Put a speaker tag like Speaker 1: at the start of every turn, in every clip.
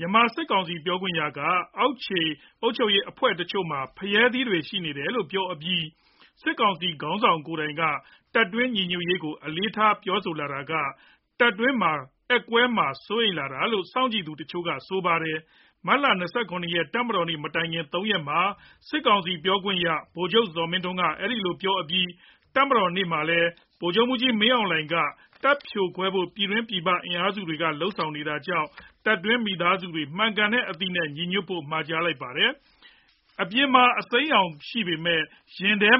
Speaker 1: မြန်မာစစ်ကောင်စီ ပြောခွင့်ရက အောက်ခြေအုပ်ချုပ်ရေးအဖွဲ့တချို့မှာ ဖရဲသီးတွေ ရှိနေတယ်လို့ ပြောအပြီး စစ်ကောင်စီခေါင်းဆောင် ကိုယ်တိုင်ကလည်း တပ်တွင်းညီညွတ်ရေးကို အလေးထား ပြောလာတာက တပ်တွင်း ကွဲအက်မှာ စိုးရိမ်လာတာလို့ စောင့်ကြည့်သူတချို့က ဆိုပါတယ်။ မတ်လ ၂၇ ရက် တပ်မတော်နေ့မတိုင်ခင် ၃ ရက်မှာ စစ်ကောင်စီပြောခွင့်ရ ဗိုလ်ချုပ်ဇော်မင်းထွန်းက အခုလိုပြောအပြီး တပ်မတော်နေ့မှာလည်း ဗိုလ်ချုပ်မှူးကြီးမင်းအောင်လှိုင်က တပ်ဖြိုခွဲဖို့ ပြည်တွင်းပြည်ပ လုပ်နေတာကြောင့် တပ်တွင်းမိသားစုတွေ မှန်ကန်တဲ့အသိနဲ့ ညီညွတ်ဖို့ မှာလိုက်ပါတယ်။ အပြင်မှာ စစ်ရောင်စိမ်းပေမဲ့ ရင်ထဲ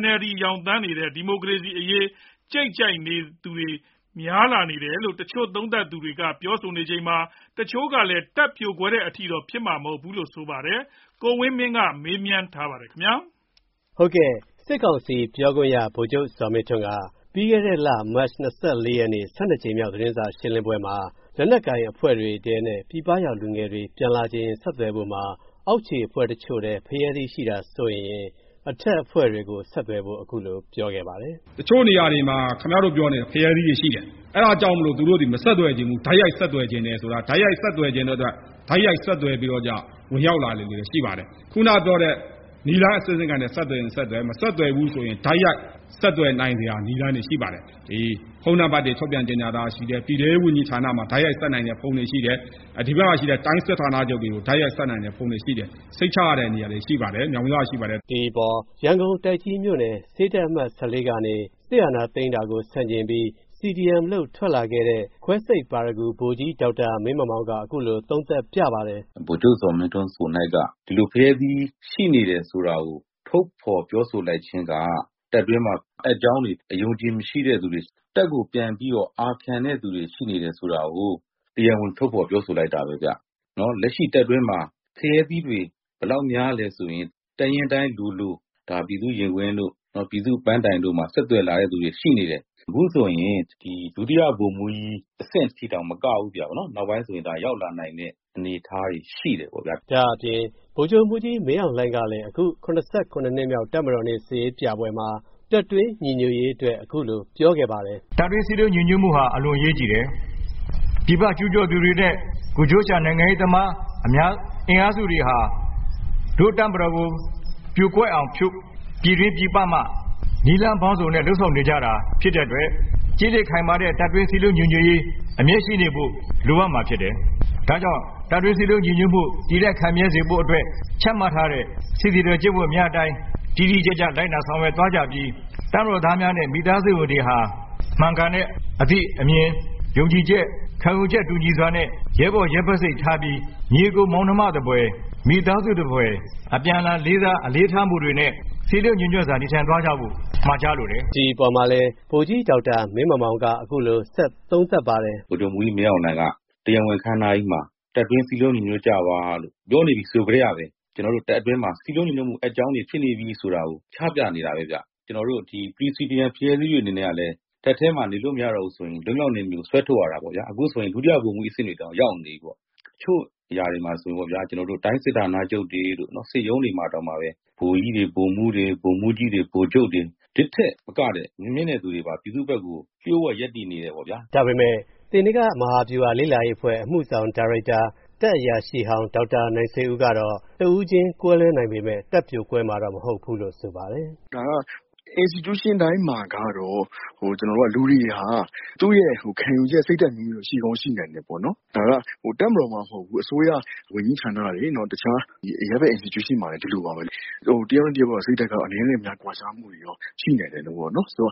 Speaker 1: NLD ရောင်နီနေတဲ့ ဒီမိုကရေစီအရေး ကြိတ်ထောက်ခံသူတွေ စများလာနေပြီလို့ တချို့ သုံးသပ်သူတွေ ပြောနေချိန်မှာ တချို့ကတော့ တပ်ပြိုကွဲတဲ့အထိ ဖြစ်မှာမဟုတ်ဘူးလို့ ဆိုပါတယ်။ အပြည့်အစုံကို ကိုဝင်းမင်းက ဆက်သွယ်မေးမြန်းပြီး တင်ပြထားပါတယ်။
Speaker 2: စစ်ကောင်စီပြောခွင့်ရ ဗိုလ်ချုပ်ဇော်မင်းထွန်းက မတ်လ ၂၄ ရက်နေ့ ၁၂ ကြိမ်မြောက် သတင်းစာရှင်းလင်းပွဲမှာ လက်နက်ကိုင်အဖွဲ့တွေထဲနဲ့ ပြည်ပရောက် လူငယ်တွေ ပြန်လာချင်ရင် ဆက်သွယ်ဖို့မှာ အောက်ခြေအဖွဲ့တချို့ထဲ ဖရဲသီးရှိတာ စိုးရိမ်ရင် အထက်အဖွဲ့တွေကို ဆက်သွယ်ဖို့ အခုလိုပြောခဲ့ပါတယ်
Speaker 1: ။ “တချို့နေရာတွေမှာ ခင်ဗျားတို့ပြောနေတဲ့ ဖရဲသီးတွေရှိတယ်။ အဲ့ဒါကြောင့် သူတို့သည် မဆက်သွယ်ချင်ဘူး၊ တိုက်ရိုက်ဆက်သွယ်ချင်တယ်ဆိုတာ တိုက်ရိုက်ဆက်သွယ်ချင်တဲ့အတွက် တိုက်ရိုက်ဆက်သွယ်ပြီးတော့ ဝင်ရောက်လာသူတွေလည်း ရှိပါတယ်။ ခုနပြောတဲ့ နည်းလမ်းအဆင့်ဆင့်နဲ့ ဆက်သွယ်ရင် ဆက်သွယ်၊ မဆက်သွယ်ဘူးဆိုရင် တိုက်ရိုက် ဆက်သွယ်နိုင်စရာ နည်းလမ်းတွေ ရှိပါတယ်။ ဖုန်းနံပါတ်တွေ ထုတ်ပြန်ကြေညာထားတာရှိတယ်၊ ပြည်ထဲရေးဝန်ကြီးဌာနမှာ တိုက်ရိုက်ဆက်နိုင်တဲ့ ဖုန်းတွေရှိတယ်၊ ဒီဘက်မှာရှိတဲ့ တိုင်းစစ်ဌာနချုပ်တွေကို တိုက်ရိုက်ဆက်နိုင်တဲ့ဖုန်းတွေ ရှိတယ်။ စိတ်ချရတဲ့နေရာတွေ ရှိပါတယ်။ မြောက်များစွာရှိပါတယ်။” ဒီ
Speaker 2: အပေါ် ရန်ကုန် တိုက်ကြီးမြို့နယ် ဆေးတပ် အမှတ် ၁၄ ကနေ စစ်အာဏာသိမ်းတာကို ဆန့်ကျင်ပြီး CDM လုပ် ထွက်လာခဲ့တဲ့ ခွဲစိတ်ပါရဂူ ဗိုလ်ကြီး ဒေါက်တာမင်းမောင်မောင်က ခုလို သုံးသပ်ပြပါတယ်။
Speaker 3: “ဗိုလ်ချုပ်ဇော်မင်းထွန်း ကိုယ်၌က ဒီလို ဖရဲသီးရှိနေတယ် ဆိုတာကို ထုတ်ဖော် ပြောဆိုလိုက်ခြင်းက တပ်တွင်းမှာ အက်ကြောင်းတွေ၊ အယုံအကြည်မရှိတဲ့သူတွေ၊ တပ်ကို ပြန်ပြီးတော့ အာခံတဲ့သူတွေ ရှိနေတယ်ဆိုတာကို တရားဝင် ထုတ်ဖော် ပြောဆိုလိုက်တာပဲဗျ။ လက်ရှိတပ်တွင်းမှာ ဖရဲသီးတွေ ဘယ်လောက်များလဲဆိုရင် တပ်ရင်းတိုင်းလိုလို ပြည်သူ့ရင်ခွင်တို့၊ ပြည်သူ့ပန်းတိုင်တို့မှာ ဆက်သွယ်လာတဲ့လူတွေ ရှိနေတယ်။ အခုဆိုရင် ဒုတိယဗိုလ်မှူးကြီး အဆင့်ထိတောင် မကဘူးပေါ့၊ နောက်ပိုင်းဆိုရင် ရောက်လာနိုင်တဲ့ အနေအထားတွေ ရှိတယ်ပေါ့ဗျာ။
Speaker 2: ” ဒါ့အပြင် ဗိုလ်ချုပ်မှူးကြီးမင်းအောင်လှိုင်ကလည်း အခု ၇၇ နှစ်မြောက် တပ်မတော်နေ့ စစ်ရေးပြပွဲမှာ တပ်တွင်းညီညွတ်ရေးအတွက် အခုလို ပြောခဲ့ပါတယ်။ “တပ်တွင်းစည်းလုံးညီညွတ်မှုဟာ အလွန်အရေးကြီးတယ်။ ပြည်ပကျူးကျော်သူတွေနဲ့ ကိုယ်ကျိုးရှာ နိုင်ငံရေးသမား အင်အားစုတွေဟာ တို့တပ်မတော်ကို ပြိုကွဲအောင် ပြည်တွင်းပြည်ပမှ နည်းလမ်းပေါင်းစုံနဲ့ လုပ်ဆောင်နေကြတာ ဖြစ်တဲ့အတွက် ကျစ်လျစ်ခိုင်မာတဲ့ တပ်တွင်းစည်းလုံးညီညွတ်ရေး အမြဲရှိနေဖို့ လိုအပ်မှာဖြစ်တယ်။ ဒါကြောင့် တပ်တွင်းစည်းလုံးညီညွတ်မှု တည်တံ့ခိုင်မြဲစေဖို့အတွက် ချမှတ်ထားတဲ့ စစ်သည်တော် ကျင့်ဝတ်များအတိုင်း တိတိကျကျ လိုက်နာဆောင်ရွက်သွားကြပြီး တပ်မတော်သားများနဲ့ မိသားစုဝင်တွေဟာ မှန်ကန်တဲ့ အသိ၊ အမြင်၊ ယုံကြည်ချက်၊ ခံယူချက် တူညီစွာနဲ့ ရဲဘော်ရဲဘက်စိတ် ထားပြီး ညီအစ်ကိုမောင်နှမသဖွယ်၊ မိသားစုသဖွယ် အပြန်အလှန်လေးစား အလေးထားမှုတွေနဲ့ စည်းလုံးညီညွတ်စွာ နေထိုင်သွားကြဖို့ မှာကြားလိုတယ်။” ဒီအပေါ် ဗိုလ်ကြီး ဒေါက်တာမင်းမောင်မောင်က အခုလို ဆက်သုံးသပ်ပါတယ်။
Speaker 3: “ဗိုလ်ချုပ်မှူးကြီးမင်းအောင်လှိုင်က တရားဝင်အခမ်းအနားကြီးမှာ တပ်တွင်း စည်းလုံးညီညွတ်ကြပါလို့ ပြောနေပြီ ဆိုကတည်းက ကျနော်တို့တပ်တွင်းမှာ စည်းလုံးညီညွတ်မှု အက်ကြောင်းတွေ ဖြစ်နေပြီဆိုတာကို ချပြနေတာပဲဗျ။ ကျနော်တို့ CDM ဖရဲသီးတွေ အနေနဲ့ကလည်း တပ်ထဲမှာ နေလို့မရတော့ဘူးဆိုရင် လွတ်မြောက်နယ်မြေကို ဆွဲထုတ်ရတာပေါ့ဗျာ။ အခုဆိုရင် ဒုတိယဗိုလ်မှူးကြီး အဆင့်တွေတောင် ရောက်နေပြီပေါ့။ တချို့နေရာတွေမှာဆိုရင် တိုင်းစစ်ဌာနချုပ်တွေတို့၊ စစ်ရုံးတွေမှာတောင်မှပဲ ဗိုလ်ကြီးတွေ၊ ဗိုလ်မှူးတွေ၊ ဗိုလ်မှူးကြီးတွေ၊ ဗိုလ်ချုပ်တွေ၊ ဒီ့ထက်မကတဲ့ မြင့်တဲ့သူတွေပါ ပြည်သူ့ဘက်ကို လျှို့ဝှက် ရပ်တည်နေတယ်ပေါ့ဗျာ
Speaker 2: ။” ဒါပေမဲ့ သေနင်္ဂမဟာဗျူလာလေ့လာရေးအဖွဲ့ အမှုဆောင်ဒါရိုက်တာ တပ်အရာရှိဟောင်း ဒေါက်တာနိုင်ဆွေဦးကတော့ တဦးချင်းကွဲလွဲနိုင်ပေမဲ့ တပ်ပြိုကွဲမှာ မဟုတ်ဘူ
Speaker 3: းလို့ ဆိုပါတယ်။ “ဒါက Institution တိုင်းမှာကတော့ လူတွေဟာ သူ့ရဲ့ ခံယူချက် စိတ်ဓာတ်အမျိုးမျိုးတော့ ရှိကောင်း ရှိနိုင်တယ်ပေါ့။ ဒါက တပ်မတော်မှ မဟုတ်ဘူး၊ အစိုးရ ဝန်ကြီးဌာနတွေ၊ တခြား အရပ်ဘက် Institution မှာလည်း ဒီလိုပါပဲ။ တယောက်နဲ့တယောက် စိတ်ဓာတ်က အနည်းနဲ့အများတော့ ကွာခြားမှု ရှိနိုင်တယ်။ တပ်မတော်ဆို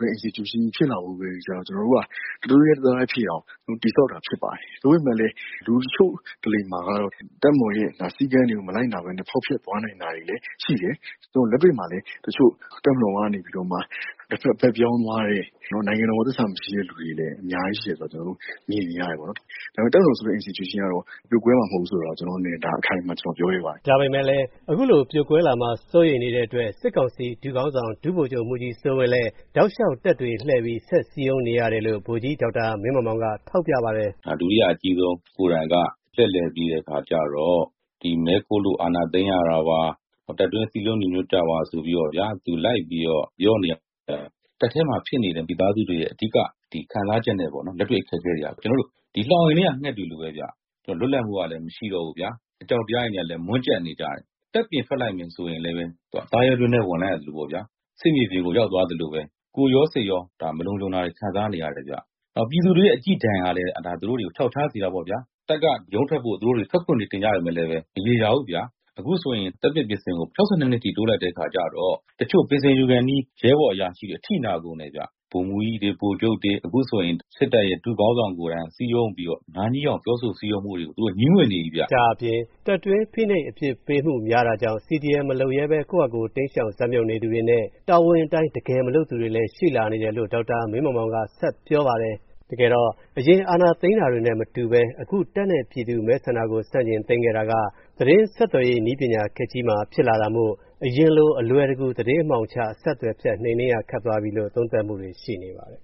Speaker 3: တဲ့ Institution ကြီး ဖြစ်လာဖို့အတွက်ကြတော့ ကျနော်တို့က တသွေးတည်း တသားတည်းဖြစ်အောင် တည်ဆောက်တာ ဖြစ်ပါတယ်။ သို့ပေမယ့်လည်း လူတချို့တလေမှာကတော့ တပ်မတော်ရဲ့ စည်းကမ်းတွေကို မလိုက်နာဘဲနဲ့ ဖောက်ဖျက်သွားနိုင်တာလည်း ရှိတယ်။ လက်တွေ့မှာလည်း တချို့ တပ်မတော်ကနေပြီးတော့ တဖက် ဘက်ပြောင်းသွားတဲ့၊ နိုင်ငံတော်ကို သစ္စာမရှိတဲ့ လူတွေလည်း အများကြီးရှိတယ်ဆိုတာ ကျနော်တို့ မြင်နေရတယ်။ ဒါပေမဲ့ တပ်မတော်ဆိုတဲ့ Institution ကတော့ ပြိုကွဲမှာမဟုတ်ဘူးဆိုတာ ကျနော့်အနေနဲ့ ဒါ အခိုင်အမာ ပြောရဲပါတယ်
Speaker 2: ။” ဒါပေမဲ့လည်း အခုလို ပြိုကွဲလာမှာကို စိုးရိမ်နေတဲ့အတွက် စစ်ကောင်စီ ဒုခေါင်းဆောင် ဒုဗိုလ်ချုပ်မှူးကြီးစိုးဝင်းလည်း တောက်လျှောက် တပ်တွေလှည့်ပြီး ဆက်စည်းရုံးနေရတယ်လို့ ဗိုလ်ကြီး ဒေါက်တာမင်းမောင်မောင်က ထောက်ပြပါတယ်
Speaker 3: ။ “ဒုတိယအကြီးဆုံး ကိုယ်တိုင်က လှည့်လည်ပြီးတော့ မဲခိုးလို့ အာဏာသိမ်းရတာပါ၊ တပ်တွင်း စည်းလုံးညီညွတ်ကြပါ ဆိုပြီးတော့ သူ လိုက်ပြီးတော့ ပြောနေရတယ်ဆိုတာ တပ်ထဲမှာ ဖြစ်နေတဲ့ မိသားစုတွေရဲ့ အဓိက ခံစားချက်နဲ့ လက်တွေ့ အခက်အခဲတွေက ကျနော်တို့ လှောင်အိမ်ထဲက ငှက်တွေလိုပဲ၊ လွတ်လပ်မှုကလည်း မရှိတော့ဘူး။ အကြောက်တရားတွေနဲ့လည်း မွန်းကြပ်နေကြတယ်။ တပ်ပြင်ထွက်လိုက်မယ် ဆိုရင်လည်း သားရဲတွင်းထဲ ဝင်လိုက်ရသလိုပေါ့ဗျာ၊ စစ်မြေပြင်ကို ရောက်သွားသလိုပဲ။ ကိုယ်ရော စိတ်ရော မလုံခြုံတာတွေ ခံစားနေရတယ်။ ပြည်သူတွေရဲ့ အကြည့်ဒဏ်ကလည်း သူတို့ကို ချောက်ချားစေတာပေါ့ဗျာ။ တပ်က ရုန်းထွက်ဖို့ သူတို့တွေ ထွက်ခွင့်တွေ တင်ကြပေမယ့်လည်း မရေရာဘူးဗျာ။ အခုဆိုရင် သက်ပြည့်ပင်စင်ကို ၆၂ နှစ်အထိ တိုးလိုက်တဲ့ အခါကြတော့ တချို့ ပင်စင်ယူခါနီး ရဲဘော်၊ အရာရှိတွေ အထိနာကုန်တယ်ဗျ။ ဗိုလ်မှူးကြီးတွေ၊ ဗိုလ်ချုပ်တွေ၊ အခုဆိုရင် စစ်တပ်ရဲ့ ဒုခေါင်းဆောင်ကိုယ်တိုင်က စည်းရုံးပြီးတော့ နားငြီးအောင် ပြောဆို စည်းရုံးမှုတွေကို သူတို့ ငြီးငွေ့နေပြီဗျ။” ဒါ့အပြင်
Speaker 2: တပ်တွင်းဖိနှိပ် အပြစ်ပေးမှုများတာကြောင့် CDM မလုပ်ရဲဘဲ ကိုယ့်ဟာကို တိမ်းရှောင် ဇာတ်မြှုပ်နေသူတွေ၊ လျှို့ဝှက် CDM လုပ် သတင်းပေးနေသူတွေနဲ့ တာဝန်အတိုင်း တကယ်မလုပ်သူတွေလည်း ရှိလာနေတယ်လို့ ဒေါက်တာမင်းမောင်မောင်က ဆက်ပြောပါတယ်။ အရင် အာဏာသိမ်းတာတွေနဲ့မတူဘဲ အခု တပ်နဲ့ ပြည်သူ့မဲဆန္ဒကို ဆန့်ကျင်သိမ်းခဲ့တာက သတင်းဆက်သွယ်ရေး နည်းပညာခေတ်ကြီးမှာ ဖြစ်လာတာမို့ အရင်လို အလွယ်တကူ သတင်းအမှောင်ချ အဆက်အသွယ်ဖြတ် နှိမ်နင်းရ ခက်သွားပြီလို့ သုံးသပ်မှုတွေ ရှိနေပါတယ်